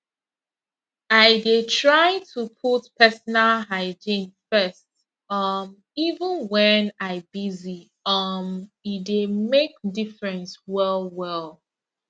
i dey try to put personal hygiene first um even when i busy um e dey make difference well well